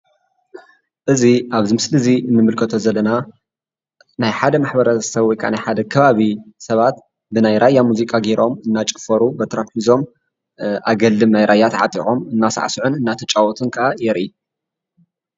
እዚ ኣብዚ ምስሊ እዚ ንምልከቶ ዘለና ናይ ሓደ ማሕበረሰብ ወይ ከዓ ናይ ሓደ ከባቢ ሰባት ብናይ ራያ ሙዚቃ ገይሮም እናጨፈሩ በትሮም ሒዞም፣ ኣገልድም ናይ ራያ ተዓጢቖም እናሳዕስዑን እናተጫወቱን ከዓ የርኢ፡፡